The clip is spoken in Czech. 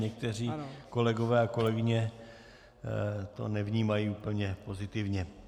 Někteří kolegové a kolegyně to nevnímají úplně pozitivně.